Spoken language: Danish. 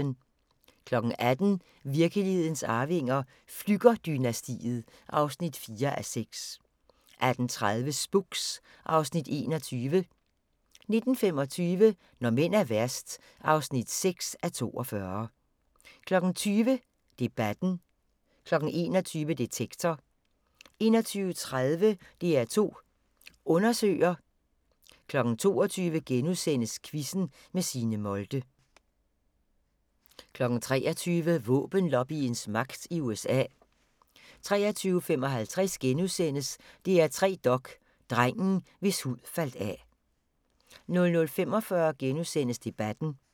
18:00: Virkelighedens Arvinger: Flügger-dynastiet (4:6) 18:30: Spooks (Afs. 21) 19:25: Når mænd er værst (6:42) 20:00: Debatten 21:00: Detektor 21:30: DR2 Undersøger 22:00: Quizzen med Signe Molde * 23:00: Våbenlobbyens magt i USA 23:55: DR3 Dok: Drengen, hvis hud faldt af * 00:45: Debatten *